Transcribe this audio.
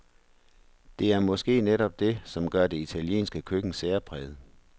Det er måske netop det, som gør det italienske køkken særpræget.